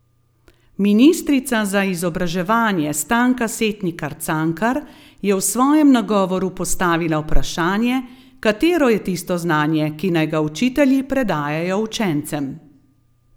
Ministrica za izobraževanje Stanka Setnikar Cankar je v svojem nagovoru postavila vprašanje, katero je tisto znanje, ki naj ga učitelji predajajo učencem.